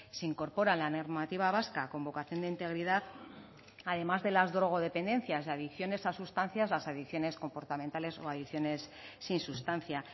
se incorpora la normativa vasca con vocación de integridad además de las drogodependencias de adicciones a sustancias las adicciones comportamentales o adicciones sin sustancia